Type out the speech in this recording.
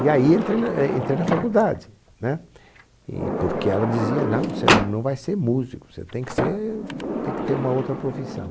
E aí entrei na eh entrei na faculdade, né? E, porque ela dizia, não, você não vai ser músico, você tem que ser ter uma outra profissão.